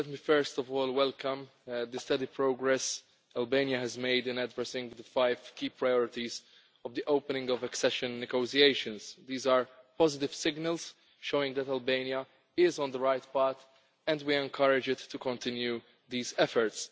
Let me first of all welcome the steady progress Albania has made in addressing the five key priorities of the opening of accession negotiations. These are positive signals, showing that Albania is on the right path, and we encourage it to continue these efforts.